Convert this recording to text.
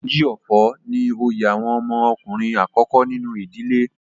Oji Ofo ni oyè àwọn ọmọ ọkùnrin àkọ́kọ́ nínú ìdílé.